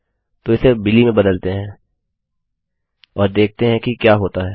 तो इसे बिली में बदलते हैं और देखते हैं कि क्या होता है